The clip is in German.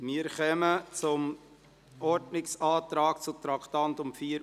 Wir kommen zum Ordnungsantrag zu den Traktanden 64 und 65.